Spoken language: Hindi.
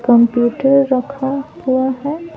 कंप्यूटर रखा हुआ है ।